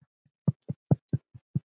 Þetta er vel hægt.